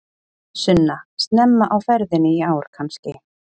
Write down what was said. Sunna: Snemma á ferðinni í ár kannski?